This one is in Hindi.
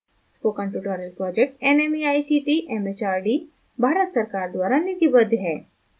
spoken tutorial project nmeict mhrd Bharat सरकार द्वारा निधिबद्ध है